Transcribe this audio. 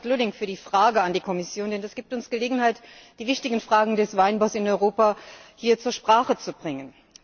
Ich danke Astrid Lulling für die Anfrage an die Kommission, denn das gibt uns Gelegenheit, die wichtigen Fragen des Weinbaus in Europa hier zur Sprache zu bringen.